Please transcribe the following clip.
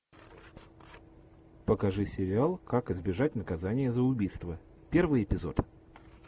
покажи сериал как избежать наказания за убийство первый эпизод